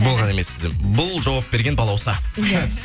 болған емес сізде бұл жауап берген балауса иә